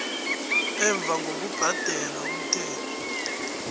emva ngokubhadela umthelo